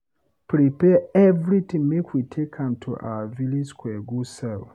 Prepare everything make we take am to our village square go sell